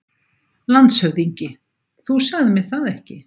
LANDSHÖFÐINGI: Þú sagðir mér það ekki.